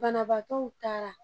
Banabagatɔw taara